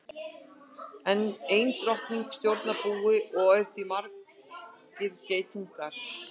Ein drottning stjórnar búi og í því eru margir geitungar.